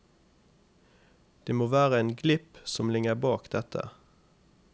Det må være en glipp som ligger bak dette.